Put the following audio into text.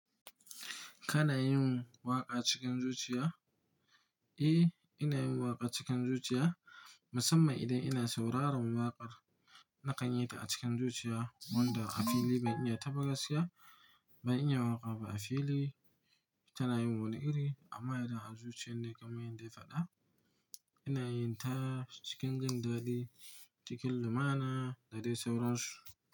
Kana yin waƙa cikin zuciya? Eh, ina yin waƙa cikin zuciya, musamman idan ina sauraron waƙar na kan yi ta a cikin zuciya wanda a fili ban iya taɓa gaskiya ba. In ya waƙa ba a fili, tana yin wani iri amma idan a zuciyar ne kamar yadda ya faɗa. Ina yin ta cikin jindadi, cikin lumana da dai saurarsu.